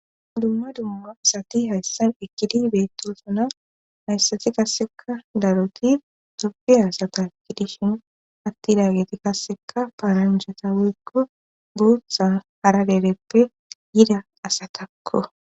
M dumma dumma sati hayssan ikkidi beettosuna hayssati kasseka daroti tobiasataakki dishin atti laageti kasseka paaranjata woykko buutha hara deleppe yida asatakko.